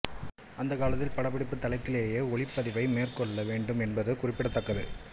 அந்தக் காலத்தில் படப்பிடிப்புத் தளத்திலேயே ஒலிப்பதிவை மேற்கொள்ள வேண்டும் என்பது குறிப்படத்தக்கது